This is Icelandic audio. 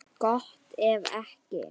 Gott ef ekki.